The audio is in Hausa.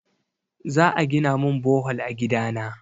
Za a gina min bohol a gida na.